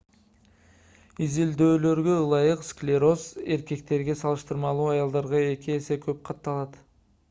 изилдөөлөргө ылайык склероз эркектерге салыштырмалуу аялдарда эки эсе көп катталат